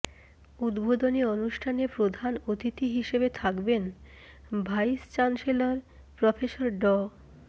উদ্বোধনী অনুষ্ঠানে প্রধান অতিথি হিসেবে থাকবেন ভাইস চ্যান্সেলর প্রফেসর ড